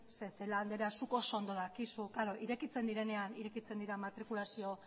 zeren celáa andrea zuk oso ondo dakizu irekitzen direnean irekitzen dira matrikulazio